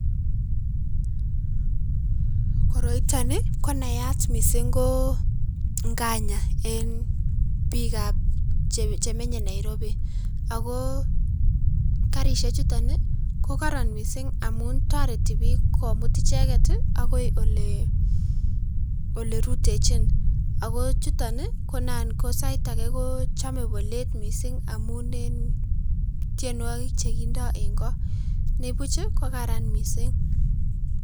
Koroiton konayat ko mising ko nganya en biikab chemenye Nairobi, ak ko karishechuton ko koron mising amun toreti biik komut icheket akoi olerutechin, ak ko chuton ko anan ko sait akee kochome bolet mising amun en tienwokik chekindo en koo, nibuch ko karan mising.